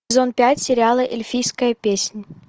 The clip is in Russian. сезон пять сериала эльфийская песнь